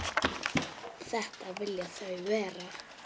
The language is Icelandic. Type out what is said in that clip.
Þetta vilja þau vera.